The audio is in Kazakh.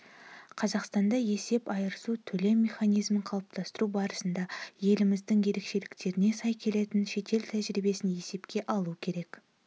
қазақстанда есеп-айырысу төлем механизмін қалыптастыру барысында еліміздің ерекшеліктеріне сай келетін шетел тәжірибесін есепке алу керек